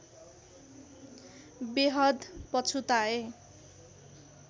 बेहद पछुताए